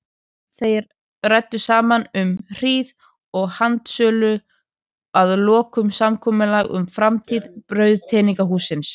Þeir ræddu saman um hríð og handsöluðu að lokum samkomulag um framtíð brauðgerðarhússins.